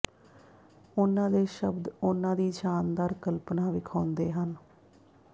ਉਨ੍ਹਾਂ ਦੇ ਸ਼ਬਦ ਉਹਨਾਂ ਦੀ ਸ਼ਾਨਦਾਰ ਕਲਪਨਾ ਵਿਖਾਉਂਦੇ ਹਨ